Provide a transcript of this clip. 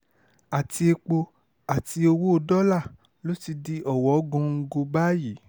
àti epo àti owó dọ́là ló ti di ọ̀wọ́ngọ̀gọ̀ báyìí